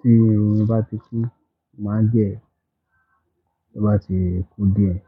Tí irun mi bá ti kún. Mo máa gẹ̀ ẹ́. Bó bá ti kún díẹ̀,